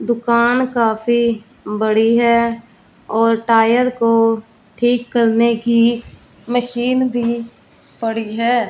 दुकान काफी बड़ी है और टायर को ठीक करने की मशीन भी पड़ी है।